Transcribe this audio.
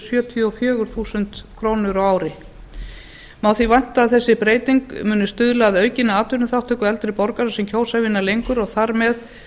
sjötíu og fjögur þúsund krónur á ári má því vænta að þessi breyting muni stuðla að aukinni atvinnuþátttöku eldri borgara sem kjósa að vinna lengur og þar með